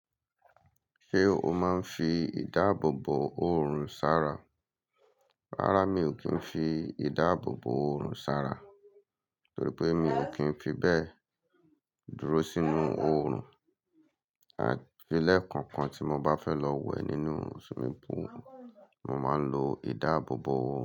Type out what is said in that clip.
Ṣé o máa ń fi ìdáàbòbò oorun sara? Rárá mi ò kí ń fi ìdáàbòbò oorun sara, torí pé mi ò kí ń fi bẹ́ẹ̀ dúró sínú oorun. Àfi lẹ̀ kankan tí mo bá fẹ́ lọ wẹ̀ nínú swimming pool, mo máa ń lo ìdáàbòbò oórun.